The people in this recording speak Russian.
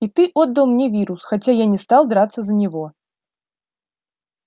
и ты отдал мне вирус хотя я не стал драться за него